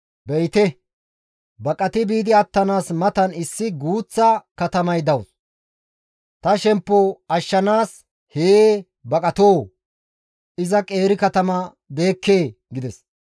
Be7ite! Baqati biidi attanaas matan issi guuththa katamay dawus; ta shemppo ashshanaas hee baqatoo? Iza qeeri katama deekkee?» gides.